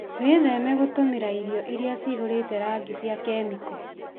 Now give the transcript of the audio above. Wĩtheme gũtũmĩra irio irĩa cihũrĩte rangi cia kemiko.